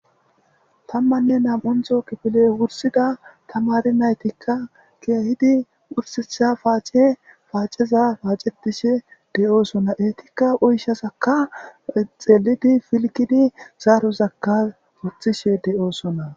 tammanne nam7onto kifile wursida tamari naytikka keehidi ursitha paace paaceza paacetishe de7oosona eetikka uyshasaka xeelidi filkidi zaarozakka guthishe de7oosona